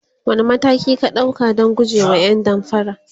wani mataki ka ɗauka Dan gujewa ƴan damfara?